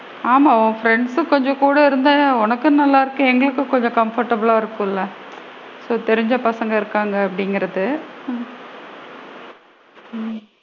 ஆமா, உங்க பிரெண்ட்ஸ் சு கொஞ்சம் கூட இருந்தா, உனக்கும் நல்லா இருக்கும், எங்களுக்கும் கொஞ்சம் comfortable லா இருக்கும்ல தெரிஞ்ச பசங்க இருக்காங்க அப்படிங்கறது ஹம் ஹம்